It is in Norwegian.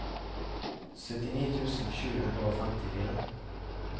syttini tusen sju hundre og femtifire